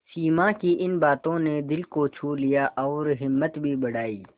सिमा की इन बातों ने दिल को छू लिया और हिम्मत भी बढ़ाई